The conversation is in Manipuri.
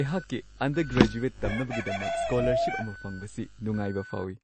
ꯑꯩꯍꯥꯛꯛꯤ ꯑꯟꯗꯔꯒ꯭ꯔꯦꯖꯨꯋꯦꯠ ꯇꯝꯅꯕꯒꯤꯗꯃꯛ ꯁ꯭ꯀꯣꯂꯔꯁꯤꯞ ꯑꯃ ꯐꯪꯕꯁꯤ ꯅꯨꯡꯉꯥꯏꯕ ꯐꯥꯎꯋꯤ ꯫